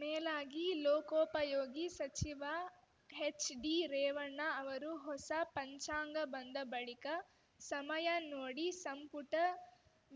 ಮೇಲಾಗಿ ಲೋಕೋಪಯೋಗಿ ಸಚಿವ ಹೆಚ್‌ಡಿ ರೇವಣ್ಣ ಅವರು ಹೊಸ ಪಂಚಾಂಗ ಬಂದ ಬಳಿಕ ಸಮಯ ನೋಡಿ ಸಂಪುಟ